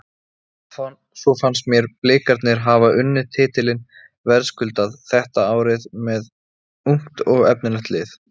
Svo fannst mér Blikarnir hafa unnið titilinn verðskuldað þetta árið með ungt og efnilegt lið.